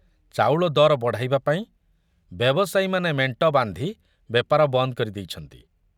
ଚାଉଳ ଦର ବଢ଼ାଇବା ପାଇଁ ବ୍ୟବସାୟୀମାନେ ମେଣ୍ଟ ବାନ୍ଧି ବେପାର ବନ୍ଦ କରି ଦେଇଛନ୍ତି।